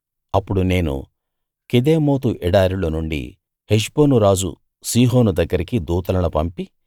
అప్పుడు నేను కెదేమోతు ఎడారిలో నుండి హెష్బోను రాజు సీహోను దగ్గరికి దూతలను పంపి